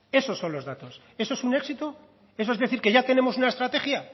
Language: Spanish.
eso son los datos eso es un éxito eso es decir que ya tenemos una estrategia